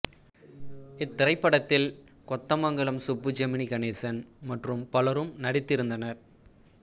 இத்திரைப்படத்தில் கொத்தமங்கலம் சுப்பு ஜெமினி கணேசன் மற்றும் பலரும் நடித்திருந்தனர்